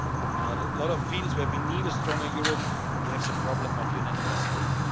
On a lot of fields where we need a stronger Europe, we have the problem of the unanimous vote.